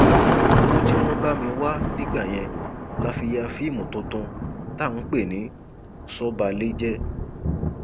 owó tí wọn bá mi wá nígbà yẹn la fi ya fíìmù mi tuntun tá a pè ní sọbàlejẹ